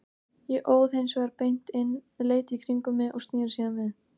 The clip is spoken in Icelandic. Ég óð hins vegar beint inn, leit í kringum mig og sneri síðan við.